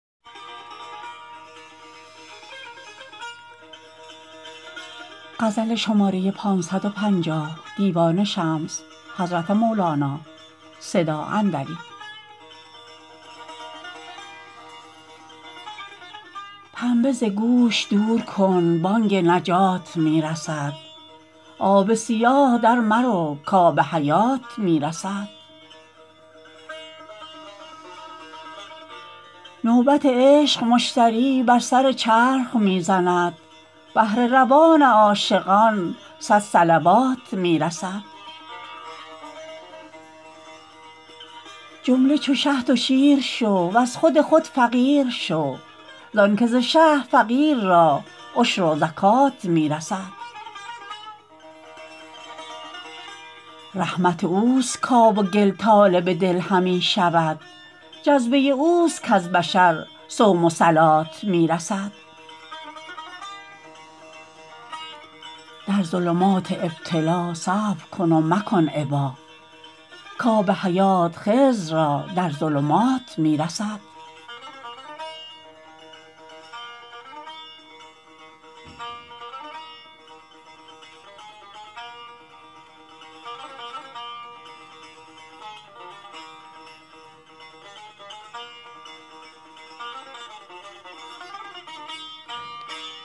پنبه ز گوش دور کن بانگ نجات می رسد آب سیاه درمرو کآب حیات می رسد نوبت عشق مشتری بر سر چرخ می زند بهر روان عاشقان صد صلوات می رسد جمله چو شهد و شیر شو وز خود خود فقیر شو زانک ز شه فقیر را عشر و زکات می رسد رحمت اوست کآب و گل طالب دل همی شود جذبه اوست کز بشر صوم و صلات می رسد در ظلمات ابتلا صبر کن و مکن ابا کآب حیات خضر را در ظلمات می رسد